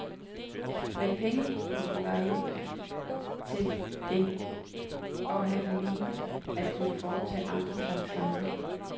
Men pengepungen var ikke til det, og han mente at kunne foretage andre slags rejser.